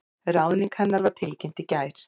Ráðning hennar var tilkynnt í gær